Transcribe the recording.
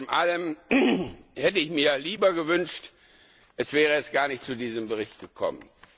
Alles in allem hätte ich mir gewünscht, es wäre erst gar nicht zu diesem Bericht gekommen.